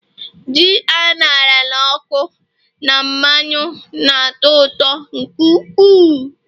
ji a ṅara n'ọkụ na mmanụ na-atọ ụtọ nke ukwuu